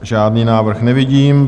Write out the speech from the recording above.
Žádný návrh nevidím.